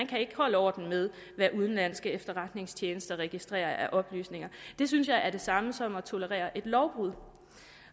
kan holde orden med hvad udenlandske efterretningstjenester registrerer af oplysninger det synes jeg er det samme som at tolerere et lovbrud